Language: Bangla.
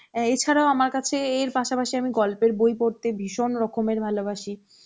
অ্যা এছাড়াও আমার কাছে এর পাশাপাশি আমি গল্পের বই পড়তে খুব ভালোবাসি